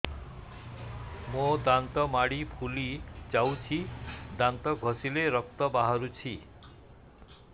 ମୋ ଦାନ୍ତ ମାଢି ଫୁଲି ଯାଉଛି ଦାନ୍ତ ଘଷିଲେ ରକ୍ତ ବାହାରୁଛି